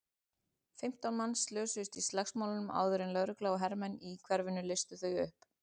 Fimmtán manns slösuðust í slagsmálunum áður en lögregla og hermenn í hverfinu leystu þau upp.